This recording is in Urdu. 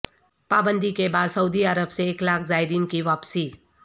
پابندی کے بعد سعودی عرب سے ایک لاکھ زائرین کی واپسی